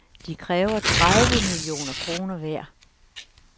De kræver tredive millioner kroner hver.